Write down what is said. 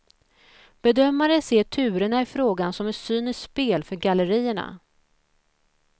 Bedömare ser turerna i frågan som ett cyniskt spel för gallerierna.